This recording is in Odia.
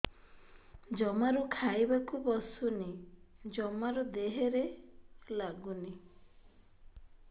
ଜମାରୁ ଖାଇବାକୁ ବସୁନି ଜମାରୁ ଦେହରେ ଲାଗୁନି